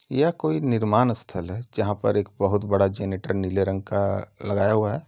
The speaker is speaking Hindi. यह कोई निर्माण स्थल है। जहाँ पर बहुत बड़ा जनरेटर नीले रंग का लगाया हुआ है।